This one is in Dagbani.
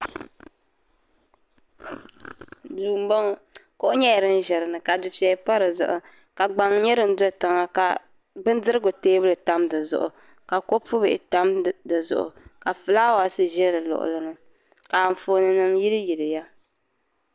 Duu n bɔŋɔ kuɣu nyɛla din ʒɛ dinni ka dufɛya pa di zuɣu ka gbaŋ nyɛ din dɔ tiŋa ka bindirigu teebuli tam dizuɣu ka kopubihi tam di zuɣu ka fulawaasi ʒɛ di luɣulini ka anfooninima yiliyiliya